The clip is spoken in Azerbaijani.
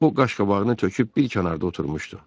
O qaşqabağını töküp bir kənarda oturmuşdu.